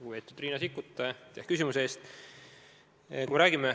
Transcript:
Lugupeetud Riina Sikkut, aitäh küsimuse eest!